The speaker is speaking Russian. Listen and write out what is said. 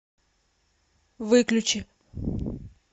выключи